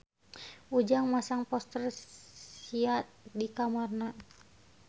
Ujang masang poster Sia di kamarna